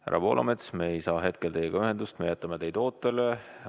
Härra Poolamets, me ei saa hetkel teiega ühendust, me jätame teid ootele.